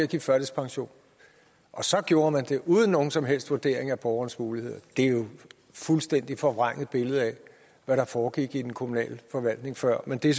give førtidspension og så gjorde man det uden nogen som helst vurdering af borgerens muligheder det er jo et fuldstændig forvrænget billede af hvad der foregik i den kommunale forvaltning før men det er